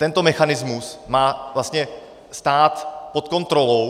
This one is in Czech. Tento mechanismus má vlastně stát pod kontrolou.